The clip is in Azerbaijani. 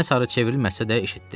Mənə sarı çevrilməsə də, eşitdi.